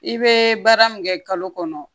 I bɛ baara min kɛ kalo kɔnɔ